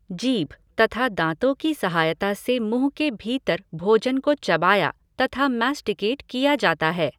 जीभ तथा दांतों की सहायता से मुँह के भीतर भोजन को चबाया तथा मैस्टिकेट किया जाता है।